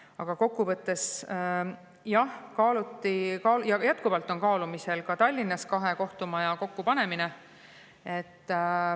Aga kokkuvõttes, jah, kaaluti ka ja jätkuvalt on kaalumisel Tallinnas kahe kohtumaja kokku panemine.